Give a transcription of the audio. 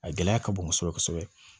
A gɛlɛya ka bon kosɛbɛ kosɛbɛ